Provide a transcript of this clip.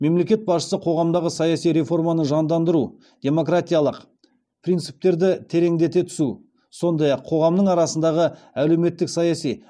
мемлекет басшысы қоғамдағы саяси реформаны жандандыру демократиялық принциптерді тереңдете түсу сондай ақ қоғамның арасындағы әлеуметтік саяси